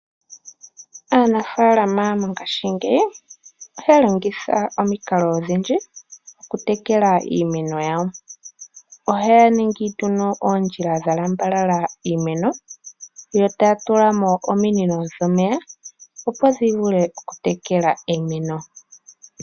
Aanafalama mongaashingeyi ohaya longitha omikalo odhindji, okutekela iimeno yawo. Ohaya ningi nduno oondjila dhalambalala iimeno, yo taya tulamo ominino dhomeya, opo dhivule okutekela iimeno.